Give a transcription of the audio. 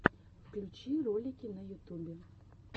включи ролики на ютубе